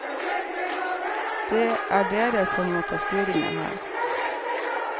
Det er dere som må ta styringa her.